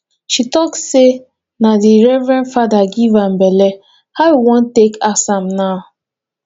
she talk sey na di reverend fada give am belle how we wan take ask am now